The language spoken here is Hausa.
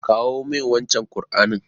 Kawo min wancen Ƙur'anin.